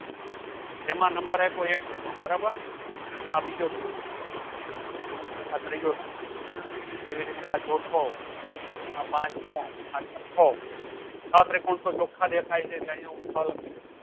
જેમાં number આપો એક ત્રિકોણ બરાબર આ બીજો ત્રિકોણ આ ત્રીજો ત્રિકોણ એવી રીતે આ ચૌથો આ પાંચમો આ છટ્ટો છ ત્રિકોણ તો ચોખા દેખાય છે